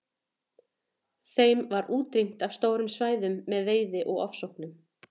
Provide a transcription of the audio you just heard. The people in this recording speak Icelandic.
Þeim var útrýmt af stórum svæðum með veiði og ofsóknum.